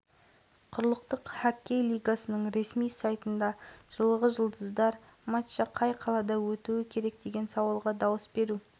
білім және ғылым министрлігінің ғылым комитеті сейсмологиялық тәжірибе-әдістемелік экспедициясының сейсмикалық стансалар желісі қаңтар күні кезінде жер